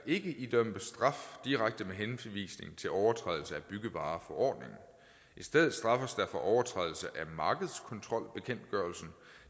ikke idømmes straf direkte med henvisning til overtrædelse af byggevareforordningen i stedet straffes der for overtrædelse af markedskontrolbekendtgørelsen